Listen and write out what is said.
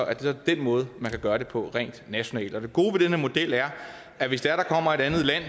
er den måde man kan gøre det på nationalt og det gode ved den her model er at hvis der kommer et andet land